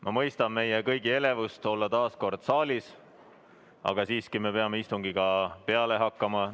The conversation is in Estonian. Ma mõistan meie kõigi elevust olla taas kord saalis, aga siiski peame istungiga peale hakkama.